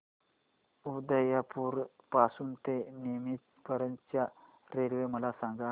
उदयपुर पासून ते नीमच पर्यंत च्या रेल्वे मला सांगा